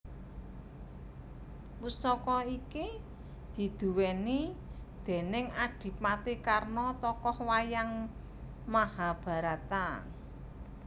Pusaka iki diduweni déning adipati Karna tokoh wayang Mahabharata